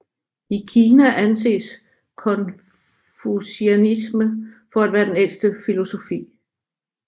I Kina anses konfusianisme for at være den ældste filosofi